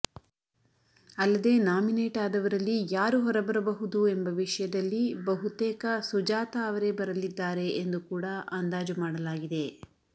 ಅಲ್ಲದೆ ನಾಮಿನೇಟ್ ಆದವರಲ್ಲಿ ಯಾರು ಹೊರಬಹುದು ಎಂಬ ವಿಷಯದಲ್ಲಿ ಬಹುತೇಕ ಸುಜಾತ ಅವರೇ ಬರಲಿದ್ದಾರೆ ಎಂದು ಕೂಡಾ ಅಂದಾಜು ಮಾಡಲಾಗಿದೆ